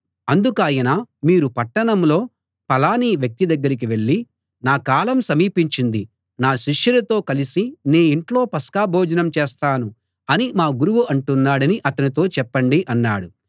అందుకాయన మీరు పట్టణంలో ఫలాని వ్యక్తి దగ్గరికి వెళ్ళి నా కాలం సమీపించింది నా శిష్యులతో కలిసి నీ ఇంట్లో పస్కా భోజనం చేస్తాను అని మా గురువు అంటున్నాడని అతనితో చెప్పండి అన్నాడు